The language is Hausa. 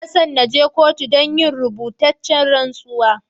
N'na son je kotu dan yin rubutacen rantsuwa.